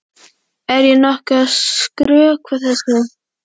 Er ég nokkuð að skrökva þessu?